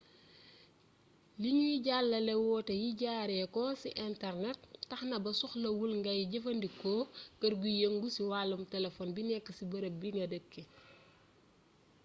liñuy jàllale woote yi jaare ko ci internet taxna ba soxlawul ngay jëfandikoo kër guy yëngu ci wàllum telefon bi nekk ci barab bi nga dëkk